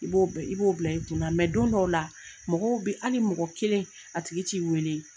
I b'o bɛ i b'o bila i tun na mɛ don dɔw la mɔgɔw be ali mɔgɔ kelen a tigit'i weele